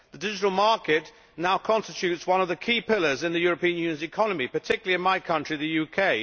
The digital market constitutes one of the key pillars in the European Union's economy, particularly in my country, the UK.